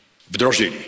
wdrożyli.